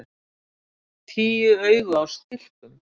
Tíu augu á stilkum!